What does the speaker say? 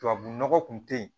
Tubabu nɔgɔ kun tɛ ye